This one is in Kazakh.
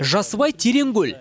жасыбай терең көл